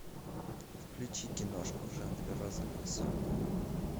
включи киношку в жанре розовые сопли